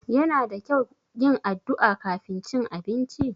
Yana da kyau yin addu'a kafin cin abinci?